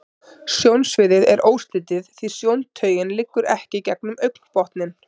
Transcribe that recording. Sjónsviðið er óslitið, því sjóntaugin liggur ekki gegnum augnbotninn.